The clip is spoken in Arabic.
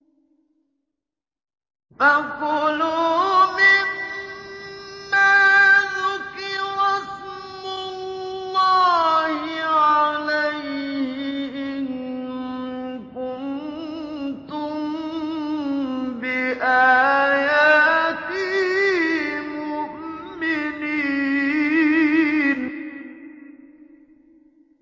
فَكُلُوا مِمَّا ذُكِرَ اسْمُ اللَّهِ عَلَيْهِ إِن كُنتُم بِآيَاتِهِ مُؤْمِنِينَ